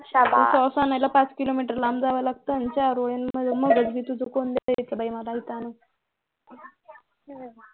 इथं sauce आणायला पाच किलोमीटर लांब जावं लागतं आणि चारोळे आणि बदाम कोण दायचं बाई मला इथं आणून